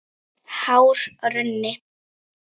Hár runni.